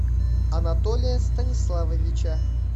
анатолия станиславовича